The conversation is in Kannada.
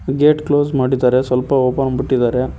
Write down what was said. ಗೇಟ್ ಕ್ಲೋಸ್ ಮಾಡಿದ್ದಾರೆ ಸ್ವಲ್ಪ ಓಪನ್ ಬಿಟ್ಟಿದ್ದಾರೆ.